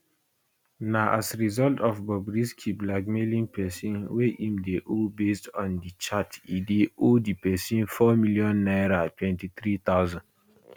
na as result of bobrisky blackmailing pesin wey im dey owe based on di chat e dey owe di pesin four million naira 2300